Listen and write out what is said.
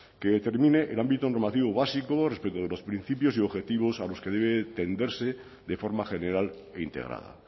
que determine el ámbito normativo básico respecto de los principios y objetivos a los que debe tenderse de forma general e integrada